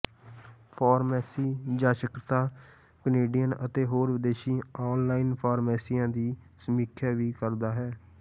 pharmacy ਜਾਂਚਕਰਤਾ Canadian ਅਤੇ ਹੋਰ ਵਿਦੇਸ਼ੀ ਆਨਲਾਈਨ ਫਾਰਮੇਸੀਆਂ ਦੀ ਸਮੀਖਿਆ ਵੀ ਕਰਦਾ ਹੈ